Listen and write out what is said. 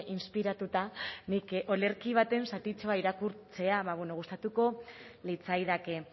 inspiratuta nik olerki baten zatitxoa irakurtzea gustatuko litzaidake